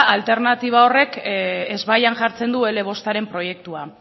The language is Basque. alternatiba horrek ezbaian jartzen du ele bostaren proiektua